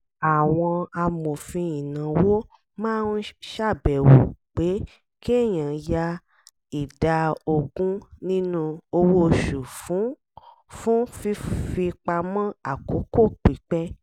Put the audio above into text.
àwọn amòfin ìnáwó máa ń ṣàbẹ̀wò pé kéèyàn ya ìdá ogun nínú owó oṣù fún fún fífipamọ́ àkókò pípẹ́